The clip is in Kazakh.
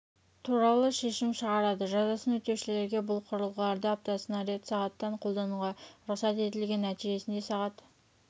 туралы шешім шығарады жазасын өтеушілерге бұл құрылғыларды аптасына рет сағаттан қолдануға рұқсат етілген нәтижесінде сағат